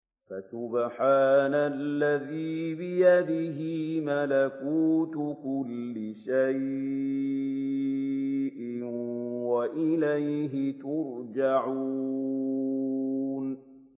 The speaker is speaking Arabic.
فَسُبْحَانَ الَّذِي بِيَدِهِ مَلَكُوتُ كُلِّ شَيْءٍ وَإِلَيْهِ تُرْجَعُونَ